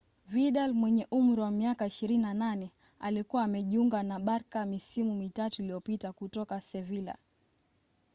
vidal mwenye umri wa miaka 28 alikuwa amejiunga na barca misimu mitatu iliyopita kutoka sevilla